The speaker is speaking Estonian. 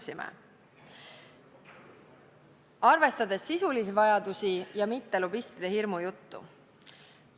Siis saab arvestada sisulisi vajadusi ja mitte lobistide hirmujuttu.